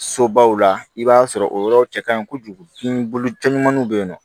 Sobaw la i b'a sɔrɔ o yɔrɔ cɛ ka ɲi kojugu ɲumanniw bɛ yen nɔ